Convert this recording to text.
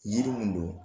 Yiri mun don